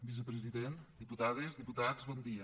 vicepresident diputades diputats bon dia